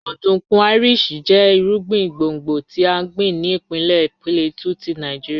Ọdunkun Irish jẹ irugbin gbongbo ti a gbin ni ipinlẹ Plateau ti Nigeria